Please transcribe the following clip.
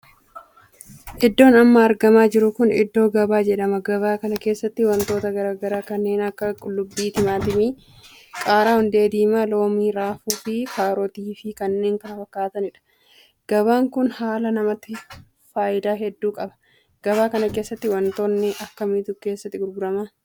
Iddoon amma argamaa jiru kun iddoo gabaa jedhama. gabaa kana keessatti wantoota garaagaraa kanneen akka qullubbii, timaatimii, qaaraa, hundee diimaa, loomii, raafuu fi karootii fi kanneen kana fakkaataniidha. gabaan kun dhala namaatiif faayidaa hedduu qaba. gabaa kana keessatti wantoota akkamiitu keessatti gurgurama?